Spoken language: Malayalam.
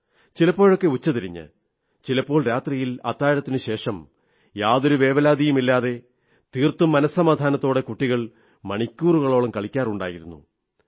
ചിലപ്പോഴൊക്കെ ഉച്ചതിരിഞ്ഞ് ചിലപ്പോൾ രാത്രിയിൽ അത്താഴത്തിനുശേഷം യാതൊരു വേവലാതിയുമില്ലാതെ തീർത്തും മനസ്സമാധാനത്തോടെ കുട്ടികൾ മണിക്കൂറുകളോളം കളിക്കാറുണ്ടായിരുന്നു